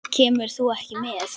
Kemur þú ekki með?